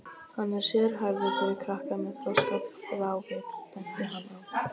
Hann er sérhæfður fyrir krakka með þroskafrávik, benti hann á.